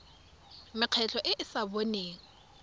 mekgatlho e e sa boneng